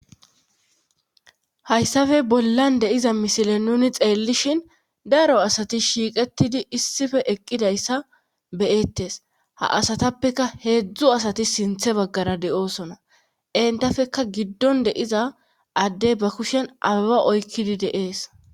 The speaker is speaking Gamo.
Hayssafe bollan de'iza misile nuni xeellishin daro asati shiiqetidi issife eqqidayssa beyettes ha asatappeka heedzdzu asati sinthe baggara de7oosona entafekka giddon de'iza addey ba kushen aba oykkidi deees.